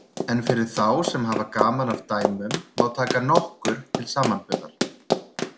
En fyrir þá sem hafa gaman af dæmum má taka nokkur til samanburðar.